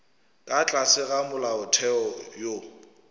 ka tlase ga molaotheo wo